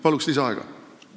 Palun lisaaega!